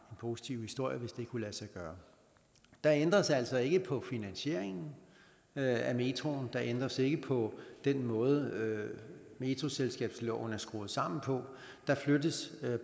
positiv historie hvis det kunne lade sig gøre der ændres altså ikke på finansieringen af metroen der ændres ikke på den måde metroselskabsloven er skruet sammen på der flyttes